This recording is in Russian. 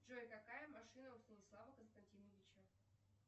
джой какая машина у станислава константиновича